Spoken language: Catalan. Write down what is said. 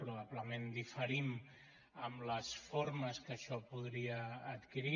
probablement diferim en les formes que això podria adquirir